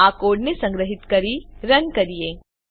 હવે ચાલો આ કોડને સંગ્રહીત કરીને રન કરીએ